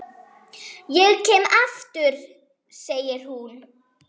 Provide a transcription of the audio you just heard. Ég kem aftur, segir hún.